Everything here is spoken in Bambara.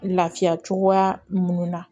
Lafiya cogoya minnu na